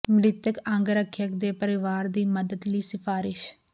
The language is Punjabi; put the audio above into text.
ਮ੍ਰਿਤਕ ਅੰਗ ਰੱਖਿਅਕ ਦੇ ਪਰਿਵਾਰ ਦੀ ਮਦਦ ਲਈ ਸਿਫਾਰਸ਼